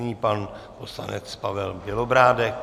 Nyní pan poslanec Pavel Bělobrádek.